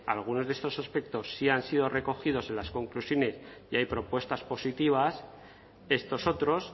algunos de estos aspectos sí ya han sido recogidos en las conclusiones y hay propuestas positivas estos otros